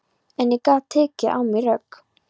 En ég gat tekið á mig rögg.